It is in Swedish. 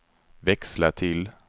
växla till